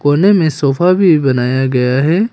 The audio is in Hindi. कोने में सोफा भी बनाया गया है।